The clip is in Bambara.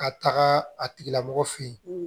Ka taga a tigila mɔgɔ fe yen